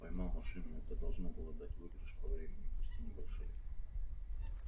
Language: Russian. поймал машину это должно было дать выигрыш по времени пусть и небольшой